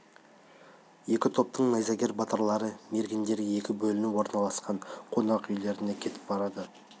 екі топтың найзагер батырлары мергендері екі бөлініп орналасқан қонақ үйлеріне кетіп барады